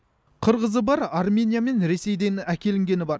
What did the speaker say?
қырғызы бар армения мен ресейден әкелінгені бар